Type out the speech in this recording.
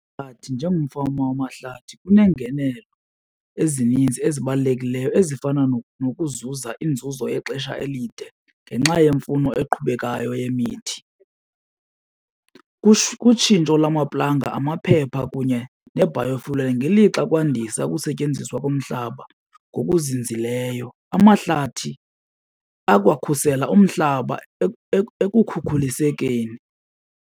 njengomfama wamahlathi kunengenelo ezininzi ezibalulekileyo ezifana nokuzuza inzuzo yexesha elide ngenxa yemfuno eqhubekayo yemithi. Kutshintsho lwamaplanga, amaphepha kunye ne-biofuel ngelixa kwandisa ukusetyenziswa komhlaba ngokuzinzileyo. Amahlathi akwakhusela umhlaba ekukhukulisekeni.